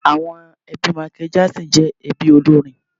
Àwọn ẹbí Michael Jackson jẹ́ ẹbí olórin.